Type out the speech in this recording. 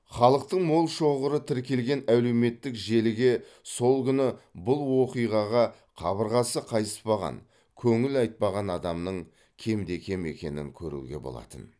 халықтың мол шоғыры тіркелген әлеуметтік желіге сол күні бұл оқиғаға қабырғасы қайыспаған көңіл айтпаған адамның кемде кем екенін көруге болатын